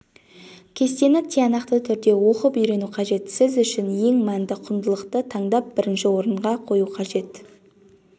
кестені тиянақты түрде оқып-үйрену қажет сіз үшін ең мәнді құндылықты таңдап бірінші орынға қою қажет